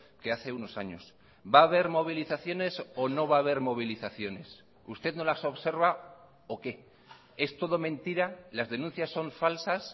que hace unos años va a haber movilizaciones o no va a haber movilizaciones usted no las observa o qué es todo mentira las denuncias son falsas